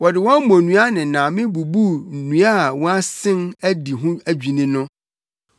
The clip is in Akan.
Wɔde wɔn mmonnua ne nname bubuu nnua a wɔasen adi ho adwinni no.